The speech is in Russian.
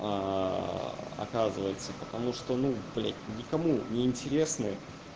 оказывается потому что ну блядь никому неинтересны